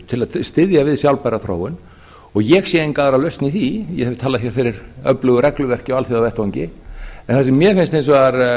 til að styðja við sjálfbæra þróun ég sé enga aðra lausn í því ég hef talað fyrir öflugu regluverki á alþjóðavettvangi en það sem mér finnst hins vegar